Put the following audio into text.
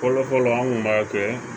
Fɔlɔfɔlɔ an kun b'a kɛ